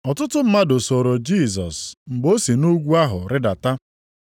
Ọtụtụ mmadụ sooro Jisọs mgbe o si nʼugwu ahụ rịdata.